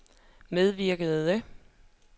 medvirkende